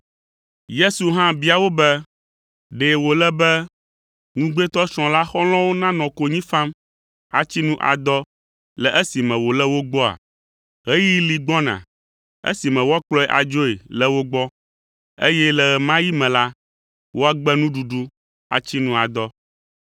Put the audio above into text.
Yesu hã bia wo be, “Ɖe wòle be ŋugbetɔsrɔ̃ la xɔlɔ̃wo nanɔ konyi fam, atsi nu adɔ le esime wòle wo gbɔa? Ɣeyiɣi li gbɔna esime woakplɔe adzoe le wo gbɔ, eye le ɣe ma ɣi me la, woagbe nuɖuɖu atsi nu adɔ.